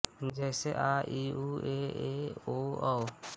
जैसे आ ई ऊ ए ऐ ओ औ